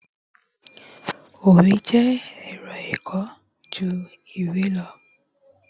òwe jé ẹrọ ẹkọ ju iwe lọ